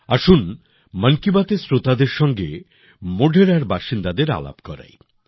আসুন মন কি বাত এর শ্রোতাদেরও সঙ্গে মোঢেরার বাসিন্দাদের সঙ্গে আলাপ করাই